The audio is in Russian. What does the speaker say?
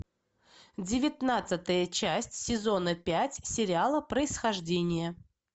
девятнадцатая часть сезона пять сериала происхождение